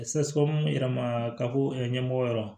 yɛrɛ ma ka bɔ ɲɛmɔgɔ yɔrɔ